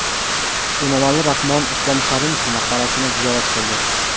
Emomali Rahmon Islom Karimov maqbarasini ziyorat qildi.